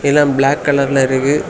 எல்லாம் பிளாக் கலர்ல இருக்கு.